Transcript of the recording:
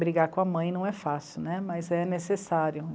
Brigar com a mãe não é fácil né, mas é necessário.